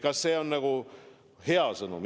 Kas see on hea sõnum?